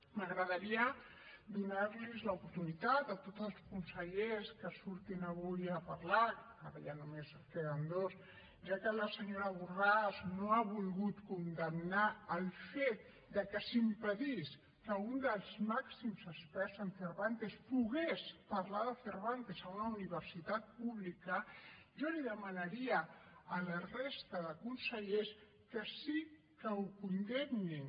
m’agradaria donar los l’oportunitat a tots els consellers que surtin avui a parlar ara ja només en queden dos ja que la senyora borràs no ha volgut condemnar el fet de que s’impedís que un dels màxims experts en cervantes pogués parlar de cervantes en una universitat pública jo demanaria a la resta de consellers que sí que ho condemnin